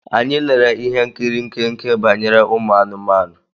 Anyị lere ihe nkiri nkenke banyere ụmụ anụmanụ.